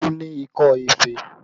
Olu ni ikọ́ ife